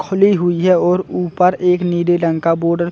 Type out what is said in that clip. खुली हुई है और ऊपर एक नीले रंग का बोर्ड --